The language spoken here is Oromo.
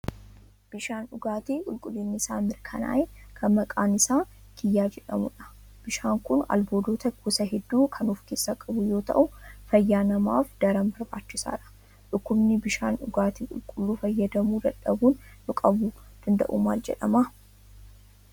Bishaan dhugaatii qulqullinni isaa mirkanaa'e, kan maqaan isaa kiyyaa jedhamudha. Bishaan kun albuudota gosa hedduu kan ofkeessaa qabu yoo ta'u, fayyaa namaaf daran barbaachisaadha. Dhukkubni bishaan dhugaatii qulqulluu fayyadamuu dhabuun nu qabuu danda'u maal jedhama?